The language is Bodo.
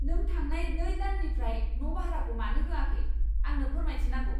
नों थांनाय नै दाननिफ्राय न' बाह्राखौ मानो होआखै ? आंनो फोरमायथि नांगौ।